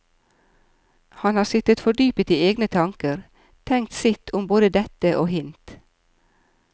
Han har sittet fordypet i egne tanker, tenkt sitt om både dette og hint.